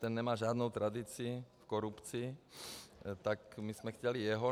Ten nemá žádnou tradici v korupci, tak my jsme chtěli jeho.